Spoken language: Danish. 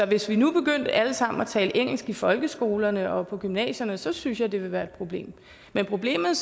hvis vi nu begyndte alle sammen at tale engelsk i folkeskolerne og på gymnasierne så synes jeg det ville være et problem men problemet